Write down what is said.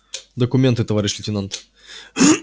документы товарищ лейтенант